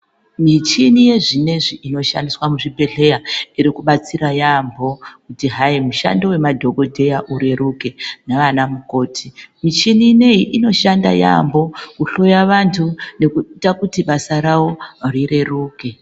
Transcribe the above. Michini yezvinezvi inoshandiswa muzvibhedheya iri kubatsira yaambo kuti hai mushando wemadhokodheya ureruke nanamukoti michini ineyi inoshanda yaambo kuhloya vanthu nekuite kuti basa ravo rireruke.